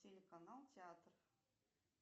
телеканал театр